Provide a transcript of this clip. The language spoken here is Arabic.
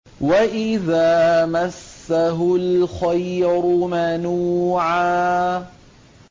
وَإِذَا مَسَّهُ الْخَيْرُ مَنُوعًا